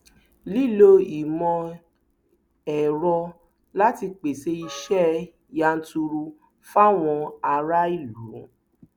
lílo ìmọ ẹrọ láti pèsè iṣẹ yanturu fáwọn aráàlú